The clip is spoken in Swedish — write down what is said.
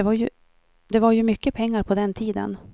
Det var ju mycket pengar på den tiden.